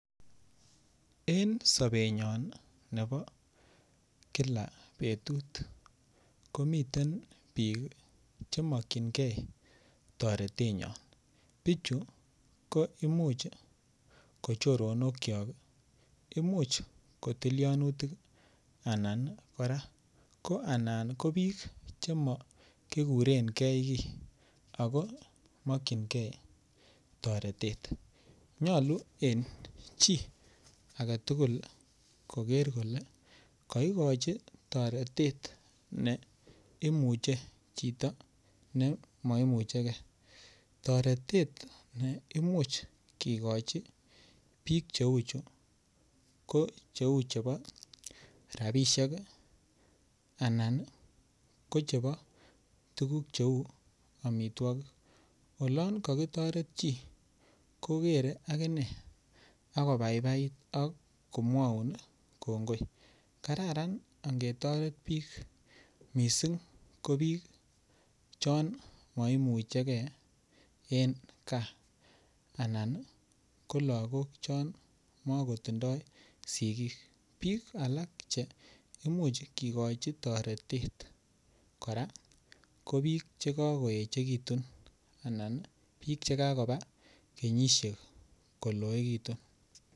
En sobenyon nebo kila betut komiten bik Che mokyingei toretenyon bichu ko Imuch ko choronokyo Imuch ko tilianutik anan ko Imuch ko bik Che makikuren ge kii ago mokyingei toretet nyolu en chii age tugul koger kole kotoret chito ne mo imuche ge toretet ne Imuch kigochi bichu ko cheu chebo rabisiek anan ko chebo tuguk cheu amitwogik olon ko kitoret chii ko kogere aginee ak kobaibait ak komwaun kongoi kararan ange toret bik mising ko chon moimuche gee en gaa anan ko lagok chon mokotindoi sigik bik alak Che Imuch kigochi toretet kora bik Che kagoekitu anan bik Che kakoba kenyisiek koloegitu